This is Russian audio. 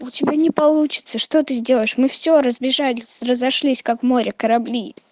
у тебя не получится что ты сделаешь мы все разбежались разошлись как в море корабли